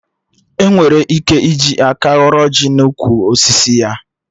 Enwere ike iji aka ghọrọ ọjị n'ukwu osisi ya